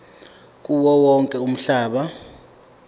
kuwo wonke umhlaba